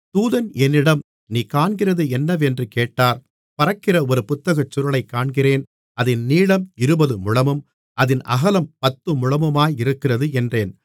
தூதன் என்னிடம் நீ காண்கிறது என்னவென்று கேட்டார் பறக்கிற ஒரு புத்தகச்சுருளைக் காண்கிறேன் அதின் நீளம் இருபது முழமும் அதின் அகலம் பத்து முழமுமாயிருக்கிறது என்றேன்